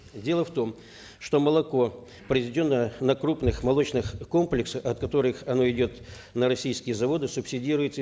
дело в том что молоко произведенное на крупных молочных комплексах от которых оно идет на российские заводы субсидируется